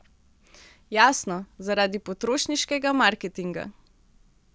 Jasno, zaradi potrošniškega marketinga.